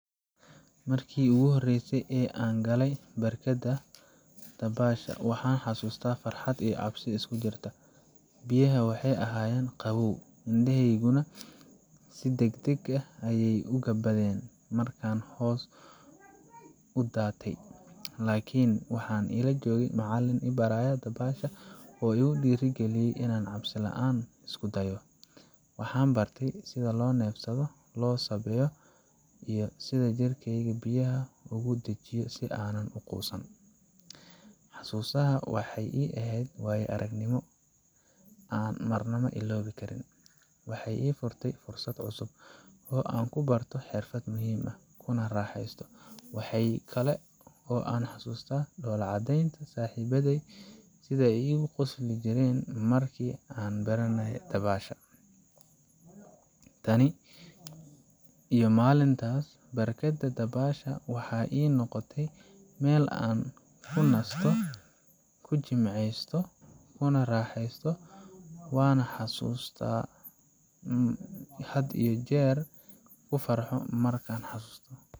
Markii ugu horreysay ee aan galay barkadda dabaasha, waxaan xasuustaa farxad iyo cabsi isku jirta. Biyaha waxay ahaayeen qabow, indhahayguna si degdeg ah ayay u gabbadeen markaan hoos u daatay. Laakiin waxaa ila joogay macallin i baraya dabaasha oo igu dhiirrigeliyey inaan cabsi la’aan isku dayo. Waxaan bartay sida loo neefsado, loo sabbeeyo, iyo sida jirkeyga biyaha ugu dejiyo si aanan u quusan. Xasuustaas waxay ii ahayd waayo aragnimo aan marnaba iloobi karin – waxay ii furtay fursad cusub oo aan ku barto xirfad muhiim ah, kuna raaxaysto. Waxa kale oo aan xasuustaa dhoolla caddaynta saaxiibaday iyo sida aan isku quusinooynay markaan baranay dabaasha. Tan iyo maalintaas, barkadda dabaasha waxay ii noqotay meel aan ku nasto, ku jimicsado, kuna raaxaysto waana xasuus aan had iyo jeer ku farxo markaan xasuusto.